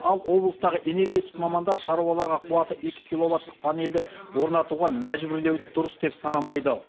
ал облыстағы энергетик мамандар шаруаларға қуаты екі киловаттық панельді орнатуға мәжбүрлеуді дұрыс деп санамайды